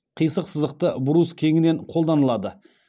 қисық сызықты брус кеңінен қолданылады